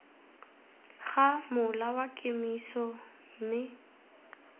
ga mola wa kemiso mme